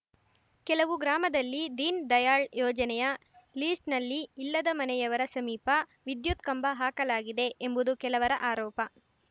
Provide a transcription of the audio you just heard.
ಕೆಲವು ಗ್ರಾಮದಲ್ಲಿ ದೀನ್‌ ದಯಾಳ್‌ ಯೋಜನೆಯ ಲೀಸ್ ನಲ್ಲಿ ಇಲ್ಲದ ಮನೆಯವರ ಸಮೀಪ ವಿದ್ಯುತ್‌ ಕಂಬ ಹಾಕಲಾಗಿದೆ ಎಂಬುದು ಕೆಲವರ ಆರೋಪ